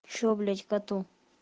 что блять коту